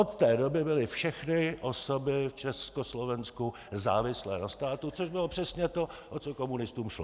Od té doby byly všechny osoby v Československu závislé na státu, což bylo přesně to, o co komunistům šlo.